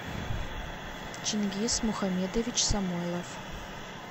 чингиз мухамедович самойлов